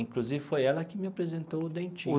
Inclusive foi ela que me apresentou o Dentinho.